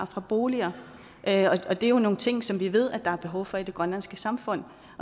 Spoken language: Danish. fra boliger og det er jo nogle ting som vi ved der er behov for i det grønlandske samfund